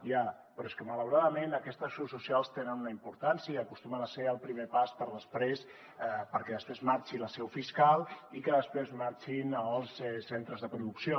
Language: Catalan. ja però és que malauradament aquestes seus socials tenen una importància i acostumen a ser el primer pas perquè després marxi la seu fiscal i que després marxin els centres de producció